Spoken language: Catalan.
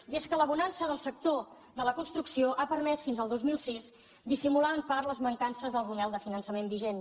i és que la bonança del sector de la construcció ha permès fins al dos mil sis dissimular en part les mancances del model de finançament vigent